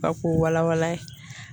Ka k'o wala wala ye